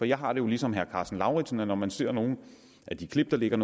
jeg har det jo ligesom herre karsten lauritzen sådan at når man ser nogle af de klip der ligger